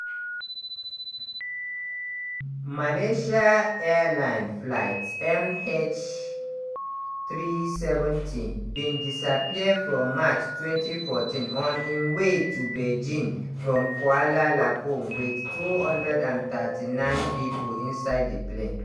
malaysia airlines flight mh370 bin disappear for march 2014 on im way to beijing from kuala lumpur wit 239 pipo inside di plane.